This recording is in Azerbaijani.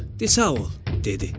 Di sağ ol, dedi.